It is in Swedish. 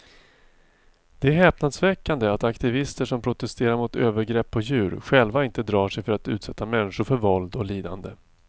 Det är häpnadsväckande att aktivister som protesterar mot övergrepp på djur själva inte drar sig för att utsätta människor för våld och lidande.